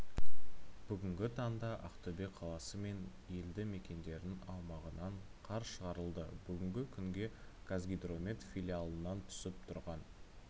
бүгінгі таңда ақтөбе қаласы мен елді мекендердің аумағынан қар шығарылды бүгінгі күнге қазгидромет филиалынан түсіп тұрған